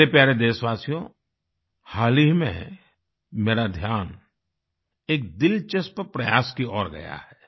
मेरे प्यारे देशवासियो हाल ही में मेरा ध्यान एक दिलचस्प प्रयास की ओर गया है